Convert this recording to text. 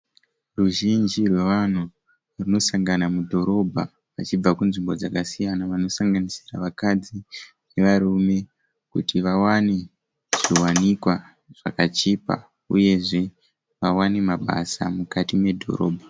Ruzhinji rwevanhu rwunosangana mudhorobha rwuchibva kunzvimbo dzakasiyana. Vanosanganisira vakadzi nevarume kuti vawane zviwanikwa zvakachipa. Uye zve vawane mabasa mukati medhorobha.